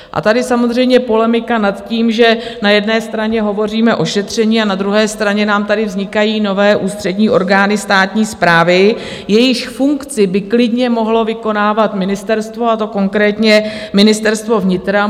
A tady samozřejmě polemika nad tím, že na jedné straně hovoříme o šetření, a na druhé straně nám tady vznikají nové ústřední orgány státní správy, jejichž funkci by klidně mohlo vykonávat ministerstvo, a to konkrétně Ministerstvo vnitra.